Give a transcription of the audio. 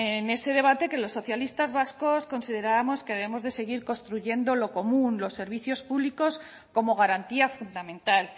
en ese debate que los socialistas vascos considerábamos que debemos de seguir construyendo lo común los servicios públicos como garantía fundamental